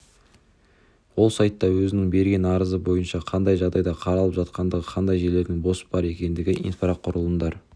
ол сайтта өзінің берген арызы бойынша қандай жағдайда қаралып жатқандығы қандай жерлердің бос бар екендігі инфрақұрылымдар